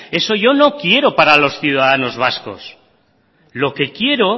eso yo no quiero para los ciudadanos vascos lo que quiero